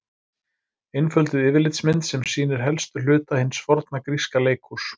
Einfölduð yfirlitsmynd sem sýnir helstu hluta hins forna gríska leikhúss.